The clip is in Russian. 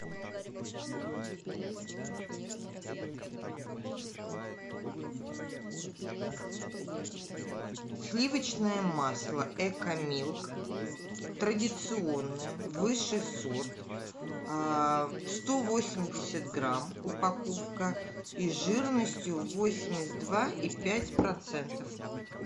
сливочное масло экомилк традиционное высший сорт сто восемьдесят грамм упаковка и жирностью восемьдесят два и пять процентов